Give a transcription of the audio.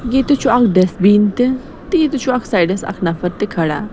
ییٚتہِ چُھ اکھ ڈیس بیٖن .تہِ تہٕ ییٚتہِ اکھ چُھ سایڈس اکھ نفر تہِ کھڑا